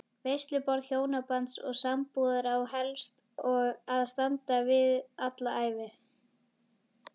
Veisluborð hjónabands og sambúðar á helst að standa alla ævi.